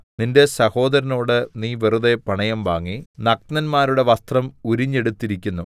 നിന്റെ സഹോദരനോട് നീ വെറുതെ പണയം വാങ്ങി നഗ്നന്മാരുടെ വസ്ത്രം ഉരിഞ്ഞെടുത്തിരിക്കുന്നു